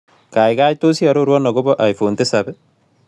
Gaigai tos' iarorwon agobo iphone tisap ii